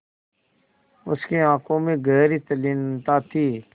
उसकी आँखों में गहरी तल्लीनता थी